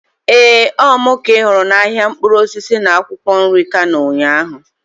Ee, Ọ mụ ka ị hụrụ n'ahịa mkpụrụ osisi na akwụkwọ nri Kano ụnyaahụ.